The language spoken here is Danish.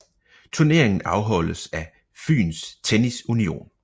Turneringen afholdes af Fyns Tennis Union